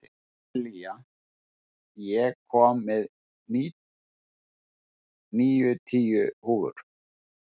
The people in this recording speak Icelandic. Sessilía, ég kom með níutíu húfur!